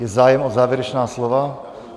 Je zájem o závěrečná slova?